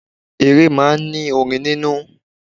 Eré máa ń ní orin nínú.